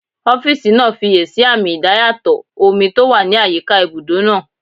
Ọ́físà náà fiyèsí àmì idayàtọ̀ omi tó wà ní àyíká ibùdó náà